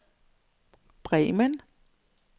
Bremen